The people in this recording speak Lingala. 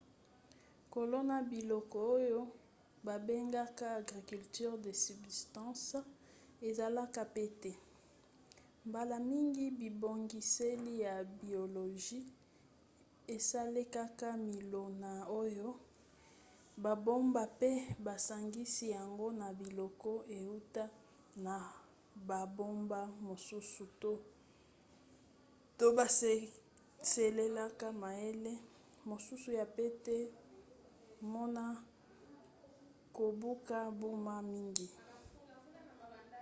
kolona biloko oyo babengaka agriculture de subsistance ezalaka pete mbala mingi bibongiseli ya biologie esalelaka milona oyo babomba mpe basangisi yango na biloko euta na bamboka mosusu to basalelaka mayele mosusu ya pete pmona kobuka mbuma mingi